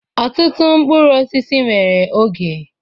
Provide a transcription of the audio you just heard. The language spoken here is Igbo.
Ọtụtụ mkpụrụ osisi nwere oge.